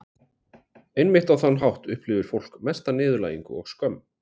Einmitt á þann hátt upplifir fólk mesta niðurlægingu og skömm.